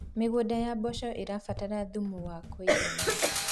mĩgũnda ya mboco irabatara thumu wa kũigana